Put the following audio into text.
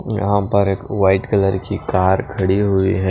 यहां पर एक वाइट कलर की कार खड़ी हुई है।